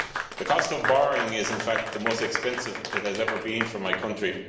The cost of borrowing is, in fact, the most expensive it has ever been for my country.